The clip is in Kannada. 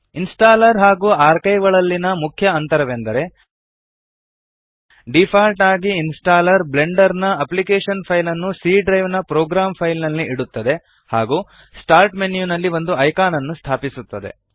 ಇನ್ಸ್ಟಾಲ್ಲರ್ ಹಾಗೂ ಆರ್ಕೈವ್ ಗಳಲ್ಲಿನ ಮುಖ್ಯ ಅಂತರವೆಂದರೆ ಡಿಫಾಲ್ಟ್ ಆಗಿ ಇನ್ಸ್ಟಾಲ್ಲರ್ ಬ್ಲೆಂಡರ್ ನ ಅಪ್ಪ್ಲಿಕೇಶನ್ ಫೈಲ್ಸ್ ನ್ನು C ಡ್ರೈವ್ ನ ಪ್ರೊಗ್ರಾಮ್ ಫೈಲ್ಸ್ ನಲ್ಲಿ ಇಡುತ್ತದೆ ಹಾಗೂ ಸ್ಟಾರ್ಟ್ ಮೆನ್ಯುನಲ್ಲಿ ಒಂದು ಐಕಾನ್ ನ್ನು ಸ್ಥಾಪಿಸುತ್ತದೆ